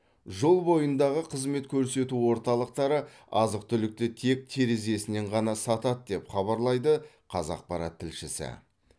жол бойындағы қызмет көрсету орталықтары азық түлікті тек терезесінен ғана сатады деп хабарлайды қазақпарат тілшісі